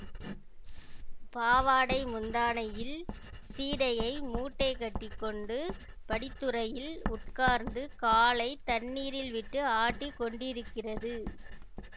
பாவாடை முந்தானையில் சீடையை மூட்டை கட்டி கொண்டு படித்துறையில் உட்கார்ந்து காலை தண்ணீரில் விட்டு ஆட்டிக் கொண்டிருக்கிறது